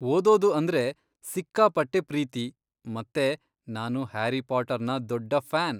ಓದೋದು ಅಂದ್ರೆ ಸಿಕ್ಕಾಪಟ್ಟೆ ಪ್ರೀತಿ ಮತ್ತೇ ನಾನು ಹ್ಯಾರಿ ಪಾಟರ್ನ ದೊಡ್ಡ ಫ್ಯಾನ್.